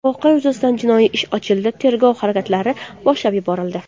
Voqea yuzasidan jinoiy ish ochildi, tergov harakatlari boshlab yuborildi.